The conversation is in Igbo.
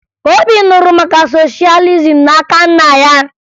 Obi nụrụ maka soshalizim n'aka nna ya